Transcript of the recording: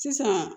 Sisan